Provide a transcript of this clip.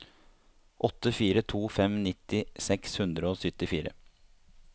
åtte fire to fem nitti seks hundre og syttifire